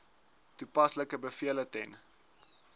toepaslike bevele ten